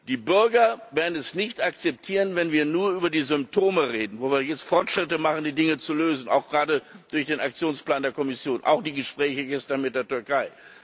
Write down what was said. Die Bürger werden es nicht akzeptieren, wenn wir nur über die Symptome reden, wo wir jetzt Fortschritte machen, die Dinge zu lösen auch gerade durch den Aktionsplan der Kommission, auch durch die Gespräche gestern mit der Türkei.